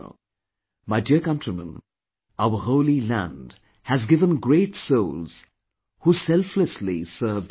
My dear countrymen, our holy land has given great souls who selflessly served humanity